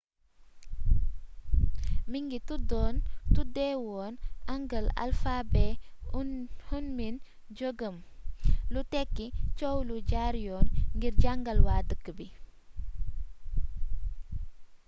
mingi tuddoon tuddeewoon hangeul alphabet hunmin jeogeum lu tekki coow lu jaar yoon ngir jàngal waa dëkk bi